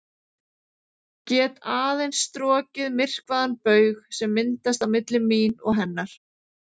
Get aðeins strokið myrkvaðan baug sem myndast á milli mín og hennar.